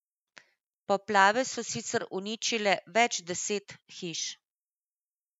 Poplave so sicer uničile več deset hiš.